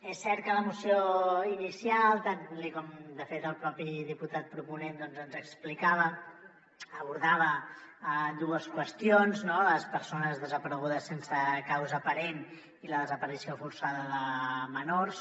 és cert que la moció inicial tal com de fet el propi diputat proponent ens explicava abordava dues qüestions no les persones desaparegudes sense causa aparent i la desaparició forçada de menors